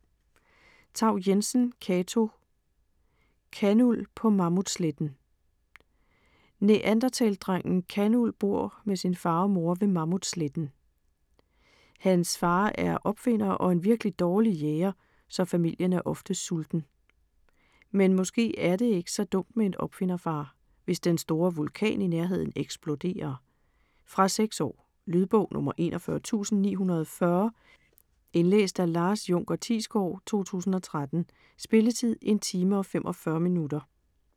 Thau-Jensen, Cato: Kanuld på Mammutsletten Neandertalerdrengen Kanuld bor med sin far og mor ved Mammutsletten. Hans far er opfinder og en virkelig dårlig jæger, så familien er ofte sulten. Men måske er det ikke så dumt med en opfinderfar, hvis den store vulkan i nærheden eksploderer. Fra 6 år. Lydbog 41940 Indlæst af Lars Junker Thiesgaard, 2013. Spilletid: 1 timer, 45 minutter.